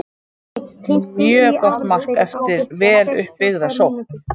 Mjög gott mark eftir vel upp byggða sókn.